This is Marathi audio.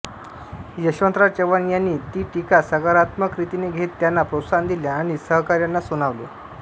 यशवंतराव चव्हाण यांनी ती टीका सकारात्मक रीतीने घेत त्यांना प्रोत्साहन दिले आणि सहकाऱ्यांना सुनावले